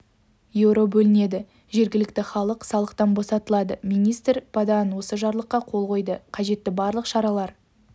еуро бөлінеді жергілікті халық салықтан босатылады министр падоан осы жарлыққа қол қойды қажетті барлық шаралар